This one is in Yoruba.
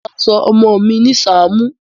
Mo máa sọ ọmọ mi ní sáàmù